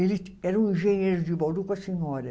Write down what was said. Ele era um engenheiro de Bauru com a senhora.